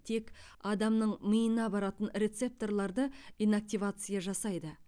тек адамның миына баратын рецепторларды инактивация жасайды